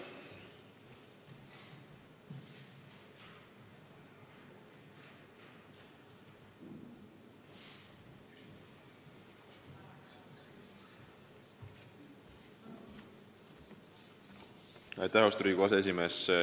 Aitäh, austatud Riigikogu aseesimees!